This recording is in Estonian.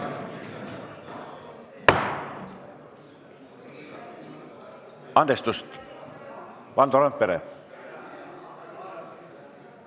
Andestust!